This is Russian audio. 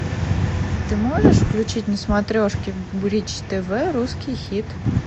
ты можешь включить на смотрешке бридж тв русский хит